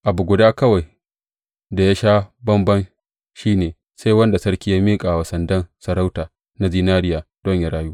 Abu guda kawai da ya sha bamban shi ne sai wanda sarki ya miƙa wa sandan sarauta na zinariya don yă rayu.